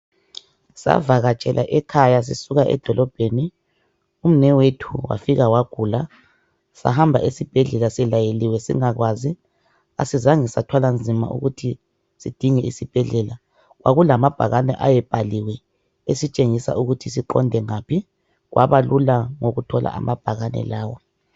Savakatshela ekhaya sisuka edolobheni umnewethu wafika wagula sahamba esibhedlela silayeliwe singakwazi asizange sathwala nzima ukuthi sidinge isibhedlela kwakulamabhakani ayebhaliweyo ositshengisa ukuthi siqonde ngaphi kwaba lula ngokuthola amabhakane lawa.